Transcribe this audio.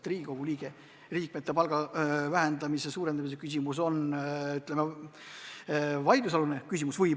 Riigikogu liikmete palga vähendamise või suurendamise küsimus on väga vaidlusalune küsimus.